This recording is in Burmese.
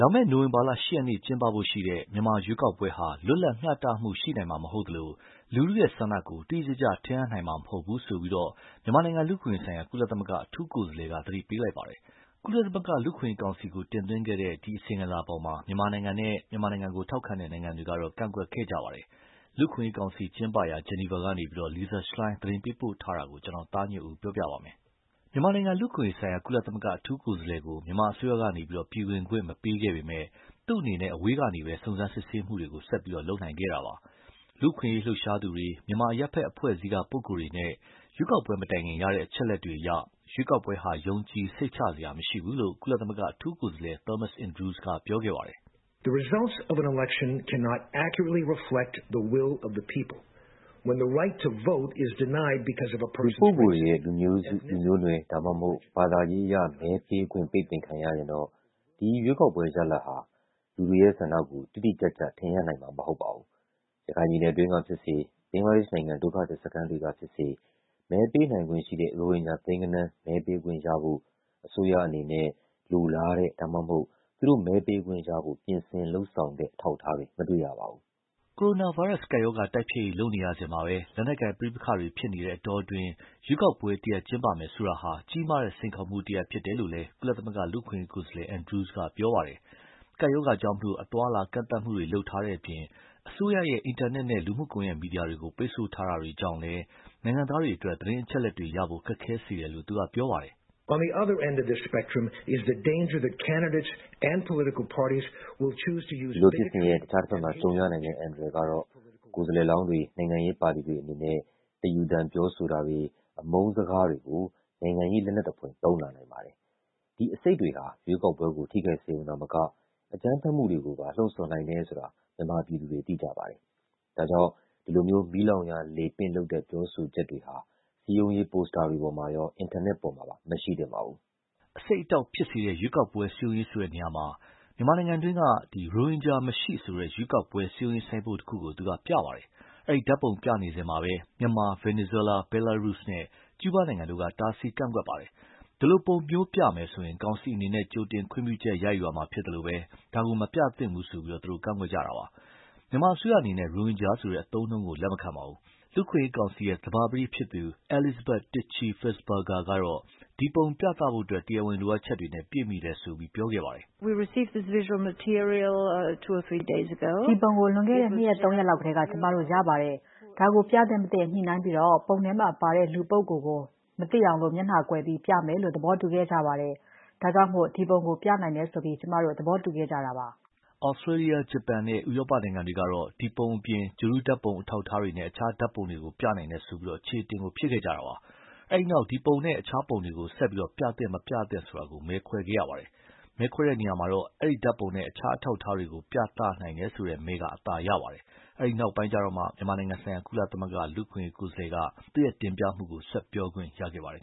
လာမယ့် နိုဝင်ဘာ ၈ ရက်နေ့ ကျင်းပဖို့ ရှိတဲ့ မြန်မာ ရွေးကောက်ပွဲဟာ လွတ်လပ် မျှတမှု ရှိမှာမဟုတ်သလို လူထုရဲ့ဆန္ဒကို တိတိကျကျ ထင်ဟပ်နိုင်မှာ မဟုတ်ဘူးဆိုပြီးတော့ မြန်မာနိုင်ငံလူ့အခွင့်အရေးဆိုင်ရာ ကုလသမဂ္ဂအထူးကိုယ်စားလှယ်က သတိပေးလိုက်ပါတယ်။ ကုလမသဂ္ဂ လူ့အခွင့်အရေးကောင်စီကို တင်သွင်းခဲ့တဲ့ သူ့အစီရင်ခံစာကို မြန်မာကိုထောက်ခံတဲ့နိုင်ငံတွေကတော့ ကန့်ကွက်ခဲ့ကြပါတယ်။ လူ့အခွင့်အရေးကောင်စီကျင်းပရာ Geneva ကနေ Lisa Schlein သတင်းပေးပို့ထားတာကို ကိုသားညွန့်ဦးက ပြောပြပါမယ်။ မြန်မာနိုင်ငံလူ့အခွင့်အရေးဆိုင်ရာ ကုလ အထူးကိုယ်စားလှယ်ကို မြန်မာအစိုးရပေးက နိုင်ငံတွင်း ဝင်ခွင့်မပေးခဲ့ပေမဲ့လည်း သူ့အနေနဲ့ အဝေးကနေပဲ စုံစမ်းစစ်ဆေးမှုတွေကို ဆက်လုပ်နိုင်ခဲ့တာပါ။ လူ့အခွင့်အရေးလှုပ်ရှားသူတွေ မြန်မာအရပ်ဘက်အဖွဲ့အစည်းက ပုဂ္ဂိုလ်တွေနဲ့ ရွေးကောက်ပွဲမတိုင်ခင် ရတဲ့အချက်အလက်တွေအရ ရွေးကောက်ပွဲဟာ ယုံကြည်စိတ်ချစရာမရှိဘူးလို့ ကုလ အထူးကိုယ်စားလှယ် Thomas Andrews က ပြောခဲ့ပါတယ်။ "လူပုဂ္ဂိုလ်တွေရဲ့ လူမျိုးစု လူမျိုးနွယ် ဒါမှမဟုတ် ဘာသာအရ မဲပေးခွင့် ပိတ်ပင်ခံရရင်တော့ ဒီရွေးကောက်ပွဲရဲ့ ရလဒ်ဟာ လူတွေရဲ့ဆန္ဒကို တိတိကျကျ ထင်ဟပ်နိုင်မှာမဟုတ်ပါဘူး။ ရခိုင်ပြည်နယ်အတွင်းကဖြစ်စေ၊ ဘင်္ဂလာဒေ့ရှ်နိုင်ငံ ဒုက္ခသည်စခန်းတွေက ဖြစ်စေ မဲပေးနိုင်ခွင့်ရှိတဲ့ ရိုဟင်ဂျာသိန်းဂဏန်း မဲပေးခွင့်ရဖို့ အစိုးရအနေနဲ့ လိုလားတဲ့ ဒါမှမဟုတ် သူတို့ မဲပေးခွင့်ရဖို့ ပြင်ဆင်လုပ်ဆောင်တဲ့ အထောက်အထားတွေ မတွေ့ရပါဘူး။" ကိုရိုနာဗိုင်းရပ်စ် ကပ်ရောဂါတိုက်ဖျက်ရေးလုပ်နေရစဉ်မှာပဲ လက်နက်ကိုင်ပဋိပက္ခတွေဖြစ်နေတဲ့အတောအတွင်း ရွေးကောက်ပွဲ တရပ်ကျင်းပမယ်ဆိုတာဟာ ကြီးမားတဲ့စိန်ခေါ်မှုဖြစ်နေတယ်လို့လည်း ကုလ လူ့အခွင့်အရေးကိုယ်စားလှယ် Andrews က ပြောပါတယ်။ ကပ်ရောဂါကြောင့် အသွားအလာကန့်သတ်မှုတွေ လုပ်ထားတဲ့အပြင်၊ အစိုးရရဲ့ အင်တာနက်နဲ့ လူမှုကွန်ယက်မီဒီယာတွေကို ပိတ်ဆို့တာတွေကြောင့်လည်း နိုင်ငံသားတွေအတွက် သတင်းအချက်အလက်တွေရဖို့ ခက်ခဲစေတယ်လို့ သူက ပြောပါတယ်။ "ဒီလိုဖြစ်စဉ်ရဲ့ အခြားတဘက်မှာ ကြုံရနိုင်တဲ့ အန္တရာယ်ကတော့ ကိုယ်စားလှယ်လောင်းတွေ နိုင်ငံပါတီတွေအနေနနဲ့ တယူသန်ပြောဆိုတာတွေ အမုန်းစကားတွေကို နိုင်ငံရေးလက်နက်သဖွယ်သုံးလာနိုင်ပါတယ်။ ဒီ အဆိပ်တွေဟာ ရွေးကောက်ပွဲကို ထိခိုက်စေရုံသာမက၊ အကြမ်းဖက်မှုတွေကိုပါ လှုံဆော်နိုင်တယ်ဆိုတာ မြန်မာပြည်သူတွေ သိကြပါတယ်။ ဒါကြောင့် ဒီလို မီးလောင်ရာလေပင့်လုပ်တဲ့ပြောဆိုချက်တွေဟာ စည်းရုံးရေး poster တွေပေါ်မှာရော အင်တာနက်ပေါ်မှာပါ မရှိသင့်ပါဘူး။" အဆိပ်အတောက်ဖြစ်စေတဲ့ ရွေးကောက်ပွဲ စည်းရုံးရေးဆိုတဲ့နေရာမှာ မြန်မာနိုင်ငံတွင်းက ရိုဟင်ဂျာမရှိဆိုတဲ့ ရွေးကောက်ပွဲစည်းရုံးရေးဆိုင်းပုဒ်တခုကို သူက ပြပါတယ်။ အဲဒီ ဓါတ်ပုံပြနေစဉ်မှာပဲ မြန်မာ၊ ဗင်နီဇွဲလား၊ ဘဲလားရုစပ်နဲ့ ကျူူးဘားနိုင်ငံတို့က တားဆီးကန့်ကွက်ခဲ့ပါတယ်။ ဒီလို ပုံမျိုးပြမယ်ဆိုရင ်ကောင်စီအနေနဲ့ ကြိုတင်ခွင့်ပြုချက်ယူရမှာဖြစ်သလို မပြသင့်ဘူးလို့ ကန့်ကွက်ကြတာပါ။ မြန်မာအစိုးရအနေနဲ့ ရိုဟင်ဂျာဆိုတဲ့အသုံးအနှုန်းကို လက်မခံပါဘူး။ လူ့အခွင့်အရေးကောင်စီ သဘာပတိ Elisabethy Tichy-Fisslberger ကတော့ ဒီပုံပြသဖို့ တရားဝင်လိုအပ်ချက်တွေနဲ့ ပြည့်မှီတယ်လို့ ပြောပါတယ်။ "ဒီပုံကို လွန်ခဲ့တဲ့ နှစ်ရက်၊ သုံးရက်လောက်ကတည်းက ကျမတို့ ရပါတယ်။ ဒါကို ပြသင့် မသင့် ညှိနှိုင်းပြီးတော့ ပုံထဲမှာပါတဲ့ လူပုဂ္ဂိုလ်ကို မသိအောင် မျက်နှာကိုကွယ်ပြီး ပြမယ်လို့ သဘောတူခဲ့ကြပါတယ်။ ဒါကြောင့် ဒီပုံကို ပြနိုင်တယ်ဆိုပြီး ကျမတို့ သဘောတူခဲ့ဲကြတာပါ။" သြစတြေးလျ၊ ဂျပန် နဲ့ ဥရောပနိုင်ငံတွေကတော့ ဒီပုံအပြင် ဂြိုလ်တုဓါတ်ပုံအထောက်အထားတွေနဲ့ အခြားဓါတ်ပုံတွေကို ပြနိုင်တယ်ဆိုပြီး အချေအတင် ဖြစ်ခဲ့ကြပါတယ်။ အဲဒီနောက် ဒီပုံနဲ့ အခြားပုံတွေကို ပြသင့်မသင့်ဆိုတာကို မဲခွဲခဲ့ရပါတယ်။ အဲဒီ နောက်မဲခွဲတဲ့အခါ ဒီဓါတ်ပုံနဲ့အခြားအထောက်အထားတွေ ပြနိုင်တယ်ဆိုတဲ့ မဲက အသာရပါတယ်။ အဲဒီ နောက်မှာမှ မြန်မာနိုင်ငံဆိုင်ရာ ကုလ လူ့အခွင့်အရေးကိုယ်စားလှယ်က သူ့တင်ပြမှု ဆက်ပြောခွင့် ရခဲ့ပါတယ်